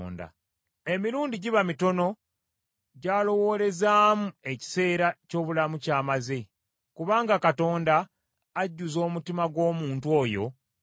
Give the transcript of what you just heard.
Emirundi giba mitono gy’alowoolezaamu ekiseera ky’obulamu ky’amaze, kubanga Katonda ajjuza omutima gw’omuntu oyo essanyu.